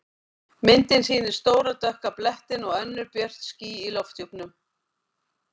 Myndin sýnir stóra dökka blettinn og önnur björt ský í lofthjúpnum.